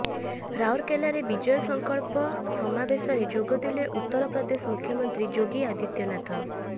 ରାଉରକେଲାରେ ବିଜୟ ସଙ୍କଳ୍ପ ସମାବେଶରେ ଯୋଗଦେଲେ ଉତର ପ୍ରଦେଶ ମୁଖ୍ୟମନ୍ତ୍ରୀ ଯୋଗୀ ଆଦିତ୍ୟନାଥ